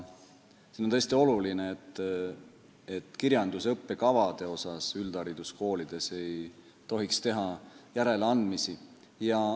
On tõesti oluline, et üldhariduskoolide kirjanduse õppekavades ei tehtaks järeleandmisi.